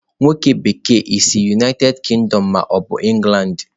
onye bekee, i si United Kingdom ma obu England?